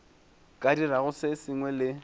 ka dirago se sengwe le